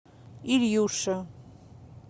ильюше